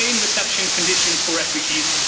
humane reception conditions for refugees